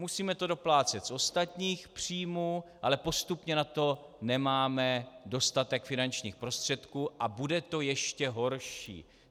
Musíme to doplácet z ostatních příjmů, ale postupně na to nemáme dostatek finančních prostředků a bude to ještě horší.